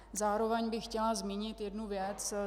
Zároveň bych chtěla zmínit jednu věc.